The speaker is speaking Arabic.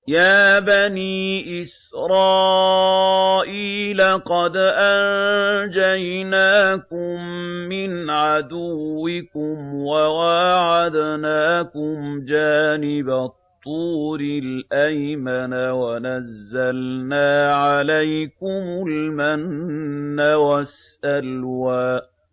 يَا بَنِي إِسْرَائِيلَ قَدْ أَنجَيْنَاكُم مِّنْ عَدُوِّكُمْ وَوَاعَدْنَاكُمْ جَانِبَ الطُّورِ الْأَيْمَنَ وَنَزَّلْنَا عَلَيْكُمُ الْمَنَّ وَالسَّلْوَىٰ